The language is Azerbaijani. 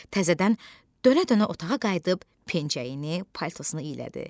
Təzədən dönə-dönə otağa qayıdıb pencəyini, paltosunu iyələdi.